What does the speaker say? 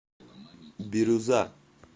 бирюза